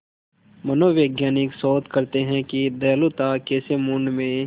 मनोवैज्ञानिक शोध करते हैं कि दयालुता कैसे मूड में